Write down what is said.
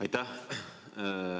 Aitäh!